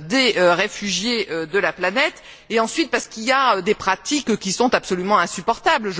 des réfugiés de la planète et ensuite, parce qu'il y a des pratiques qui sont absolument insupportables.